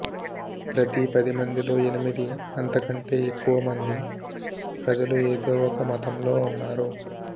ప్రతి పది మందిలో ఎనిమిది అంతకంటే ఎక్కువ మంది ప్రజలు ఏదో ఒక మతంలో ఉన్నారు